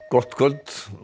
gott kvöld